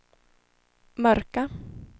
mörka